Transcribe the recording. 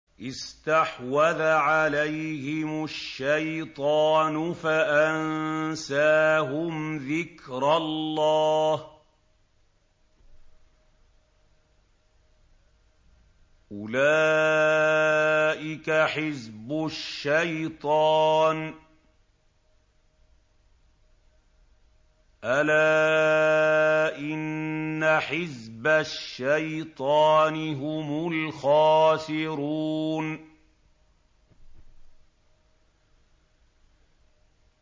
اسْتَحْوَذَ عَلَيْهِمُ الشَّيْطَانُ فَأَنسَاهُمْ ذِكْرَ اللَّهِ ۚ أُولَٰئِكَ حِزْبُ الشَّيْطَانِ ۚ أَلَا إِنَّ حِزْبَ الشَّيْطَانِ هُمُ الْخَاسِرُونَ